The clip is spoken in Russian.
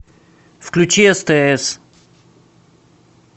включи стс